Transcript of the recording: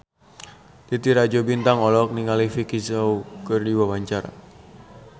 Titi Rajo Bintang olohok ningali Vicki Zao keur diwawancara